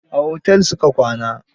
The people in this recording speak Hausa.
A hotel su ka kwana.